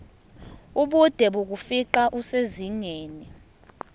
ubude bokufingqa kusezingeni